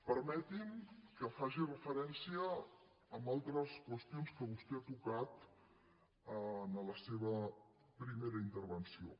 permeti’m que faci referència a altres qüestions que vostè ha tocat en la seva primera intervenció